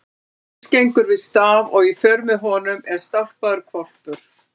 Jóhannes gengur við staf og í för með honum er stálpaður hvolpur.